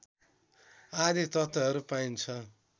आदि तत्त्वहरू पाइन्छ